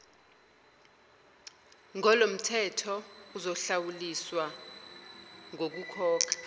ngolomthetho uzohlawuliswa ngokukhokha